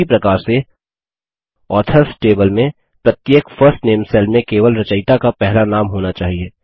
उसी प्रकार से ऑथर्स टेबल में प्रत्येक फर्स्ट नामे सेल में केवल रचयिता का पहला नाम होना चाहिए